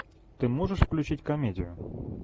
ты можешь включить комедию